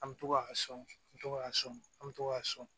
An bɛ to k'a sɔn n bɛ to k'a sɔn an bɛ to k'a sɔn